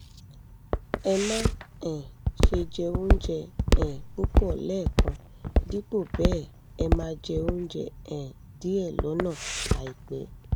ẹ má um ṣe jẹ oúnjẹ um púpọ̀ lẹ́ẹ̀kan; dípò bẹ́ẹ̀ ẹ máa jẹ oúnjẹ um díẹ̀ lọ́nà àìpẹ́